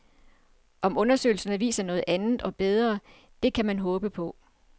Om undersøgelserne viser noget andet og bedre, det kan man håbe på.